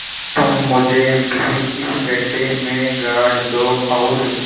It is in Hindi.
तुम मुझे भी इस गड्ढे में गाड़ दो और